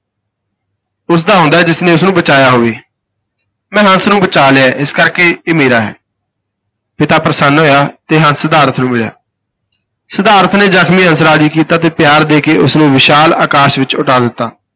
ਉਸ ਦਾ ਹੁੰਦਾ ਹੈ ਜਿਸ ਨੇ ਉਸ ਨੂੰ ਬਚਾਇਆ ਹੋਵੇ, ਮੈਂ ਹੰਸ ਨੂੰ ਬਚਾ ਲਿਆ ਹੈ, ਇਸ ਕਰਕੇ ਇਹ ਮੇਰਾ ਹੈ ਪਿਤਾ ਪ੍ਰਸੰਨ ਹੋਇਆ ਤੇ ਹੰਸ ਸਿਧਾਰਥ ਨੂੰ ਮਿਲਿਆ ਸਿਧਾਰਥ ਨੇ ਜ਼ਖਮੀ ਹੰਸ ਰਾਜ਼ੀ ਕੀਤਾ ਤੇ ਪਿਆਰ ਦੇ ਕੇ ਉਸ ਨੂੰ ਵਿਸ਼ਾਲ ਆਕਾਸ਼ ਵਿਚ ਉਡਾ ਦਿੱਤਾ।